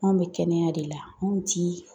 Anw bɛ kɛnɛya de la, anw ti